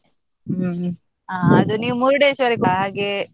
ಹ್ಮ್, ಹ ಅದು ನೀವು Murdeshwar ಕ್ಕೆ ಹಾಗೆ.